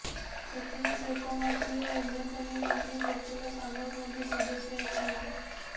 ସେଥିରେ ଶିଳ୍ପମନ୍ତ୍ରୀ ଓ ଏମଏସଏମଇ ମନ୍ତ୍ରୀ ପ୍ରଫୁଲ୍ଲ ସାମଲ ମଧ୍ୟ ସଦସ୍ୟ ଅଛନ୍ତି